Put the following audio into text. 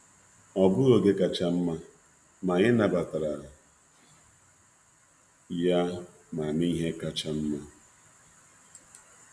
Ọ bụghị oge kacha nma, ma anyị nabatara ya ma mee ihe kacha nma.